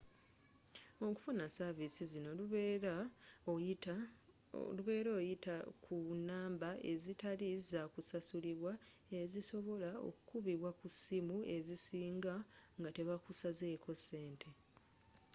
okufuna savisi zino lubeerea oyita ku namba ezitali zakusasulibwa ezisobola okubibwa ku ssimu ezisinga nga tebakusazeko ssente